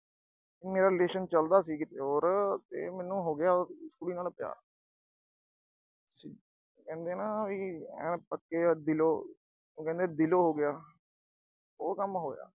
ਮੇਰਾ relation ਚੱਲਦਾ ਸੀ ਕਿਤੇ ਹੋਰ ਤੇ ਮੈਨੂੰ ਹੋ ਗਿਆ ਉਸ ਕੁੜੀ ਨਾਲ ਪਿਆਰ। ਆਏ ਕਹਿੰਦੇ ਆ ਨਾ ਵੀ ਪੱਕਿਆ ਦਿਲੋਂ, ਉਹ ਦਿਲੋਂ ਹੋ ਗਿਆ, ਉਹ ਕੰਮ ਹੋਇਆ।